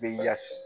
Bɛ yafɛ